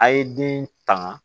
A' ye den tanga